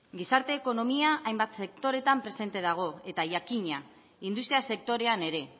gizarte ekonomia hainbat sektoreetan presente dago eta jakina industria sektorean ere